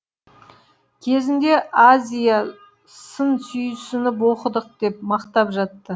кезінде азия сын сүйсініп оқыдық деп мақтап жатты